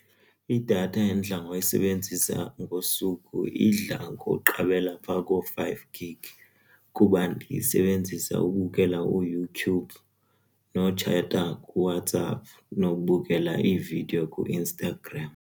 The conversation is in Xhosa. Idatha endidla ngoyisebenzisa ngosuku idla ngokuqabela pha koo-five gig kuba ndiyisebenzisa ubukela uYouTube notshetha kuWhatsApp nokubukela iividiyo kuInstagram.